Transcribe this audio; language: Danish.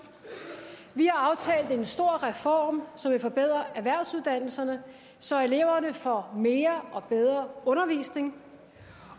vi har aftalt en stor reform som vil forbedre erhvervsuddannelserne så eleverne får mere og bedre undervisning